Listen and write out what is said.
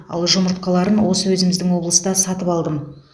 ал жұмыртқаларын осы өзіміздің облыста сатып алдым